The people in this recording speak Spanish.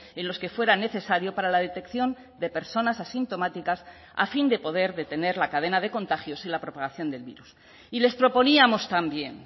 en los que fuera necesario para la detección de personas asintomáticas a fin de poder detener la cadena de contagios y la propagación del virus y les proponíamos también